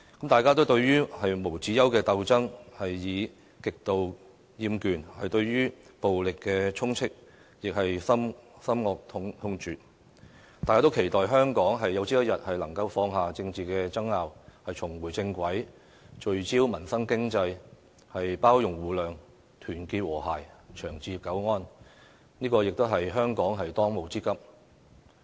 大家對於無休止的鬥爭，已極度厭倦，對於暴力充斥更是深惡痛絕，但我們仍期待香港有朝一日能放下政治爭拗，重回正軌，聚焦民生經濟，包容互諒，團結和諧，長治久安，這亦是香港的當務之急。